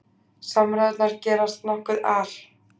Samræðurnar gerast nokkuð al